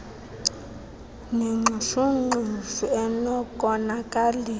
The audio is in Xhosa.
nengxushu ngxushu enokonakalisa